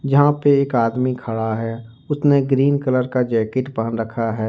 यहां पे एक आदमी खड़ा है उसने ग्रीन कलर का जैकेट पहन रखा है।